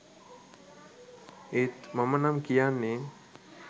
ඒත් මමනම් කියන්නේ